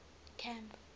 camp